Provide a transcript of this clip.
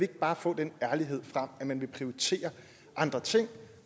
bare få den ærlighed frem at man vil prioritere andre ting